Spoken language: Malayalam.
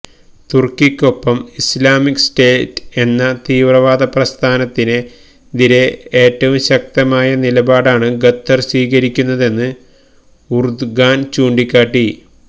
തുര്ക്കിക്കൊപ്പം ഇസ്ലാമിക് സ്റ്റേറ്റ് എന്ന തീവ്രവാദപ്രസ്ഥാനത്തിനെതിരെ ഏറ്റവും ശക്തമായ നിലപാടാണ് ഖത്വര് സ്വീകരിക്കുന്നതെന്ന് ഉര്ദുഗാന് ചൂണ്ടിക്കാട്ടി